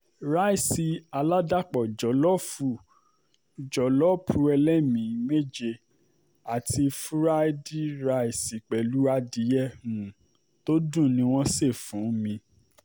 ràìsí aládàpọ̀ jólóòfù jólóòpù ẹlémi-ín méje àti furaidi ráìsì pẹ̀lú adìyẹ um tó dùn ni wọ́n ṣe fún um mi